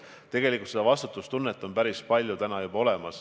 Tegelikult seda vastutustunnet on meil päris palju juba praegu.